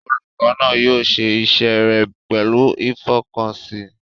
Olùkọ́ náà yóò ṣe iṣẹ́ rẹ̀ pẹ̀lú ìfọkànsìn.